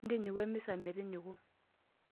Ntinyiku emisa metinyiku.